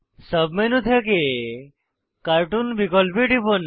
sub menu থেকে cartoon বিকল্পে টিপুন